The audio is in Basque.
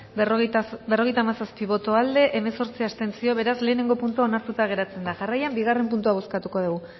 berrogeita hamazazpi boto aldekoa hemezortzi abstentzio beraz lehengo puntua onartuta geratzen da jarraian bigarren puntua bozkatuko dugu